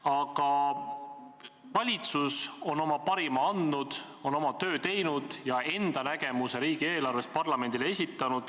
Aga valitsus on oma parima andnud, on oma töö teinud ja enda nägemuse riigieelarvest parlamendile esitanud.